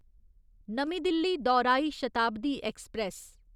नमीं दिल्ली दौराई शताब्दी ऐक्सप्रैस